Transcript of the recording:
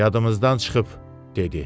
"Yadımızdan çıxıb," dedi.